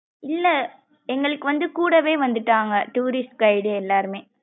இல்ல எங்கலுக்கு வந்து கூடவே வந்துட்டாங்க tourist guide எல்லாருமே.